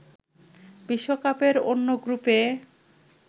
বিশ্বকাপের অন্য গ্রুপে